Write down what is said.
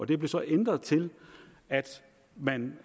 det blev så ændret til at man